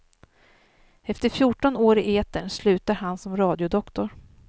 Efter fjorton år i etern slutar han som radiodoktor.